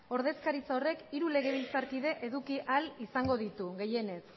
ordezkaritza horrek hiru legebiltzarkide eduki ahal izango ditu gehienez